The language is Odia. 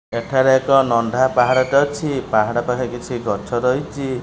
ଏଠାରେ ଏକ ନଣ୍ଡା ପାହାଡ଼ଟେ ଅଛି ପାହାଡ଼ ପାଖରେ କିଛି ଗଛ ରହିଛି।